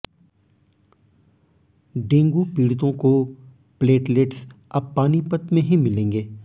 dengue पडि़तों को platelets अब पानीपत में ही मिलेंगे